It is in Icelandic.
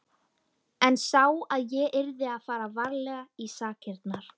En sá að ég yrði að fara varlega í sakirnar.